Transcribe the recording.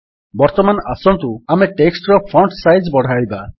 ବର୍ତ୍ତମାନ ଆସନ୍ତୁ ଆମେ ଟେକ୍ସଟ୍ ର ଫଣ୍ଟ୍ ସାଇଜ୍ ବଢ଼ାଇବା